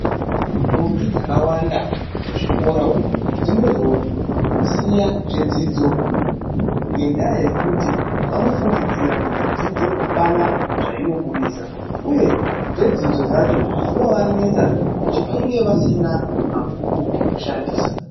Ndombi dzakawanda muzvikora umu dzinozosiya zvedzidzo ngendaa yekuti vanofungidzira kuti dzidzo apana zvainobudisa. Uye zvedzidzo zvacho zvinovanetsa nekuti vanenge vasina mabhuku ekushandisa.